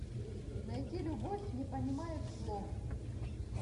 найти любовь не понимает слов